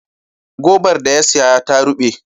Gobar da ya saya ta ruɓe.